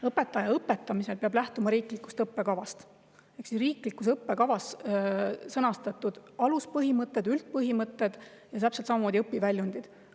Õpetaja peab õpetamisel lähtuma riiklikust õppekavast ehk siis riiklikus õppekavas sõnastatud aluspõhimõtetest, üldpõhimõtetest ja täpselt samamoodi õpiväljunditest.